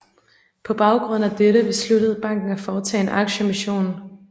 På baggrund af dette besluttede banken at foretage en aktieemission